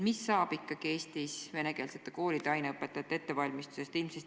Mis saab ikkagi Eestis venekeelsete koolide aineõpetajate ettevalmistusest?